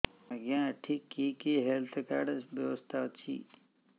ଆଜ୍ଞା ଏଠି କି କି ହେଲ୍ଥ କାର୍ଡ ବ୍ୟବସ୍ଥା ଅଛି